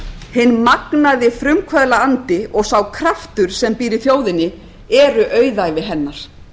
hinn magnaði frumkvöðlaandi og sá kraftur sem býr í þjóðinni eru auðæfi hennar